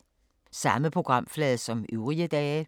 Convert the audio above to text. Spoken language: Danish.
Samme programflade som øvrige dage